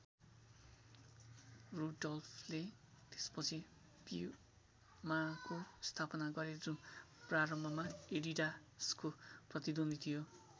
रुडोल्फले त्यस पछि प्यूमाको स्थापना गरे जुन प्रारम्भमा एडिडासको प्रतिद्वन्द्वी थियो।